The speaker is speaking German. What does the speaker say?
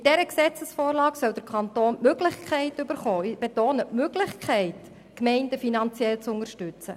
Mit dieser Gesetzesvorlage soll der Kanton die Möglichkeit bekommen – ich betone: die Möglichkeit –, die Gemeinden finanziell zu unterstützen.